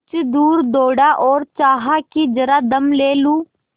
कुछ दूर दौड़ा और चाहा कि जरा दम ले लूँ